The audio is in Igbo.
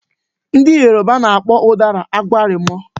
Ndị Yoruba na-akpọ ụdara "agbalụ́mọ"